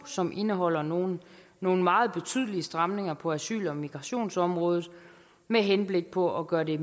som indeholder nogle nogle meget betydelige stramninger på asyl og migrationsområdet med henblik på at gøre det